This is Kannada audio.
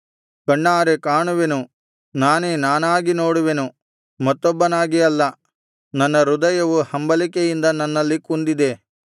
ಕಣ್ಣಾರೆ ಕಾಣುವೆನು ನಾನೇ ನಾನಾಗಿ ನೋಡುವೆನು ಮತ್ತೊಬ್ಬನಾಗಿ ಅಲ್ಲ ನನ್ನ ಹೃದಯವು ಹಂಬಲಿಕೆಯಿಂದ ನನ್ನಲ್ಲಿ ಕುಂದಿದೆ